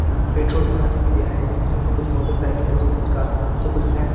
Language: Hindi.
यहां पेट्रोल भराने के लिए आए हैं जिसमें से कुछ मोटरसाइकिल है कुछ कार तो कुछ वैन --